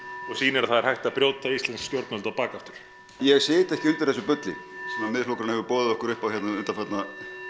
og sýnir að það er hægt að brjóta íslensk stjórnvöld á bak aftur ég sit ekki undir þessu bulli sem Miðflokkurinn hefur boðið okkur upp á hér undanfarna